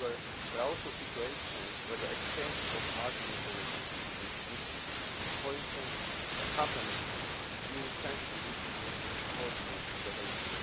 However, there are also situations where the exchange of market information can be misused, for instance, when companies use sensitive information to coordinate behaviour.